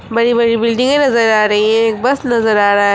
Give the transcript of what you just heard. बड़ी बड़ी बिल्डिंगे नज़र आ रही हैं एक बस नज़र आ रहा है।